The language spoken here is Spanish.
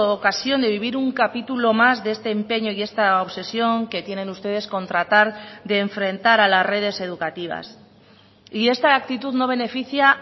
ocasión de vivir un capítulo más de este empeño y esta obsesión que tienen ustedes con tratar de enfrentar a las redes educativas y esta actitud no beneficia